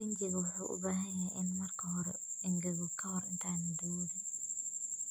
Rinjiga wuxuu u baahan yahay inuu marka hore engego ka hor intaadan daboolin.